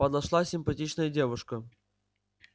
подошла симпатичная девушка